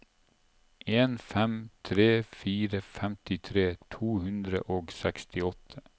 en fem tre fire femtitre to hundre og sekstiåtte